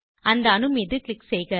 அந்த அணு மீது க்ளிக் செய்க